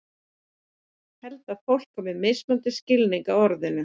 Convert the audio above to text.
Held að fólk hafi mismunandi skilning á orðinu.